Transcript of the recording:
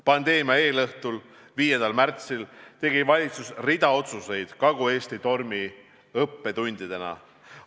Pandeemia eelõhtul, 5. märtsil tegi valitsus rea otsuseid Kagu-Eesti tormi õppetundidena.